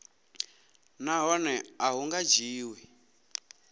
nahone a hu nga dzhiwi